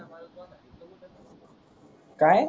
काय